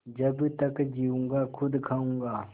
जब तक जीऊँगा खुद खाऊँगा